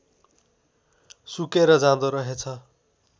सुकेर जाँदो रहेछ